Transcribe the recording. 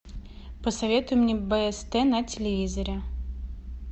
посоветуй мне бст на телевизоре